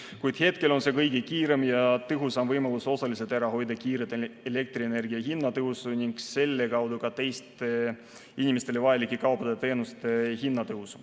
Kuid hetkel on see kõige kiirem ja tõhusam võimalus osaliselt ära hoida kiiret elektrienergia hinna tõusu ning selle kaudu ka teiste inimestele vajalike kaupade ja teenuste hinna tõusu.